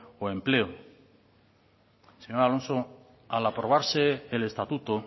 o empleo señor alonso al aprobarse el estatuto